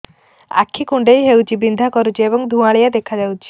ଆଖି କୁଂଡେଇ ହେଉଛି ବିଂଧା କରୁଛି ଏବଂ ଧୁଁଆଳିଆ ଦେଖାଯାଉଛି